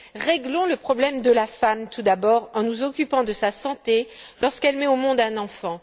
Réglons le problème de la femme tout d'abord, en nous occupant de sa santé lorsqu'elle met au monde un enfant.